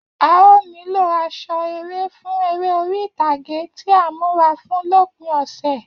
A óò nílò aṣọ eré fún eré orí ìtàgé tí à ń múra fún lópin ọ̀sẹ̀